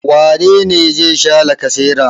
Wane ne za sha lacasera?